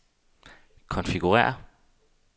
konfigurér